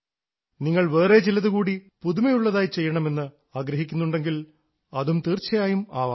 നിങ്ങൾ വേറെ ചിലതു കൂടി പുതുമയുള്ളതായി ചെയ്യണമെന്ന് ആഗ്രഹിക്കുന്നുണ്ടെങ്കിൽ അതും തീർച്ചയായും ആവാം